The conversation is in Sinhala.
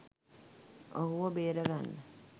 ඔහුව බේරගන්න